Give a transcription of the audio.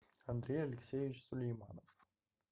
андрей алексеевич сулейманов